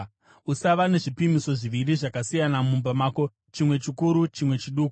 Usava nezvipimiso zviviri zvakasiyana mumba mako, chimwe chikuru, chimwe chiduku.